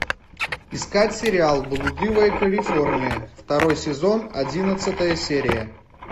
искать сериал блудливая калифорния второй сезон одиннадцатая серия